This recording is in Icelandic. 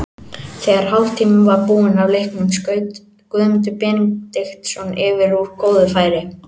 Þegar hálftími var búinn af leiknum skaut Guðmundur Benediktsson yfir úr góðu færi.